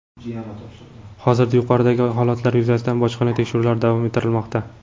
Hozirda yuqoridagi holatlar yuzasidan bojxona tekshiruvlari davom ettirilmoqda.